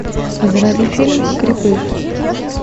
заводи фильм крепыш